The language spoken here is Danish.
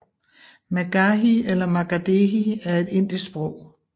Magahi eller Magadhi er et indisk sprog